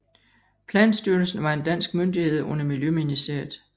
Planstyrelsen var en dansk myndighed under Miljøministeriet